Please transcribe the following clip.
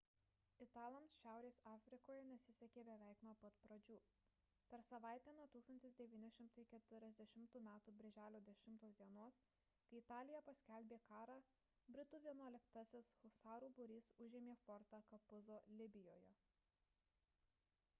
italams šiaurės afrikoje nesisekė beveik nuo pat pradžių per savaitę nuo 1940 m birželio 10 d kai italija paskelbė karą britų vienuoliktasis husarų būrys užėmė fortą capuzzo libijoje